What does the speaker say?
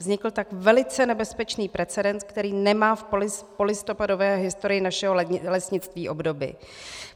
Vznikl tak velice nebezpečný precedens, který nemá v polistopadové historii našeho lesnictví obdoby.